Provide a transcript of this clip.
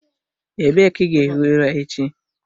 Ebee ka ị ga-ehi ụra echi?